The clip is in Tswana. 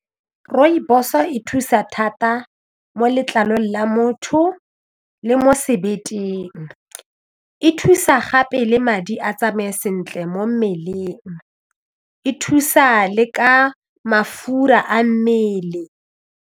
Rooibos e thusa thata mo letlalong la motho le mo sebeteng e thusa gape le madi a tsamaye sentle mo mmeleng e thusa le ka mafura a mmele.